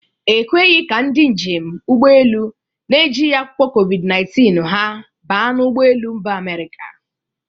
E kweghi ka ndị njem ụgbọelu na-ejigi akwụkwọ COVID-19 ha baa n'ụgbọ elu Mba Amerika.